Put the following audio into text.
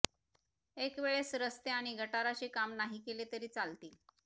एक वेळेस रस्ते आणि गटाराचे काम नाही केले तरी चालतील